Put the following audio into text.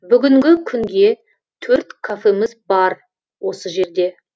бүгінгі күнге төрт кафеміз бар осы жерде